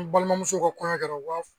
N balimamuso ko kɔɲɔ kɛra u b'a fɔ